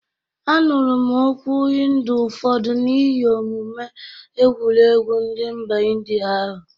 Anụrụ m okwu hindu ụfọdụ n'ihi omume egwuregwu ndị mba ịndịa ahụ